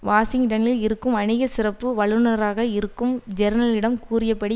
வாஷிங்டனில் இருக்கும் வணிக சிறப்பு வல்லுனராக இருக்கும் ஜேர்னலிடம் கூறியபடி